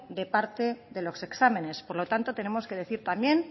de parte de los exámenes por lo tanto tenemos que decir también